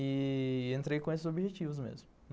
E entrei com esses objetivos mesmo.